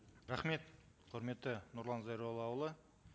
рахмет құрметті нұрлан зайроллаұлы